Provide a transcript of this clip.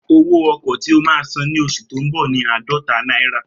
Owó ọkọ̀ tí o máa san ní oṣù tó ń bọ̀ ni aadọta náírà